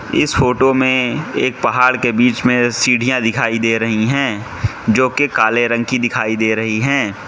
इस फोटो में एक पहाड़ के बीच में सीढ़ियां दिखाई दे रही हैं जो कि काले रंग की दिखाई दे रही हैं।